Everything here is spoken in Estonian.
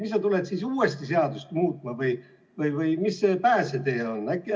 Mis sa tuled siis uuesti seadust muutma või mis see pääsetee on?